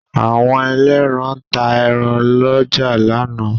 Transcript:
Àwọn ẹlẹ́ran ta ẹran lọ́jà lánàá.